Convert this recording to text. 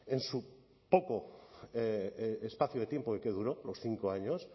en su poco espacio de tiempo y que duró los cinco años